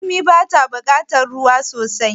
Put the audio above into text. Raƙumi bata bukatar ruwa sosai